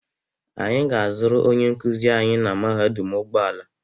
Anyị ga-azụrụ onye nkuzi anyị na mahadum ụgbọala.